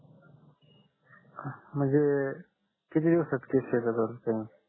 म्हणजे किती इफेक्ट आहे जर त्यान